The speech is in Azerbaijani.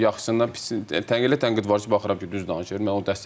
Yaxşısından pisindən elə tənqid var ki, baxıram ki, düz danışır.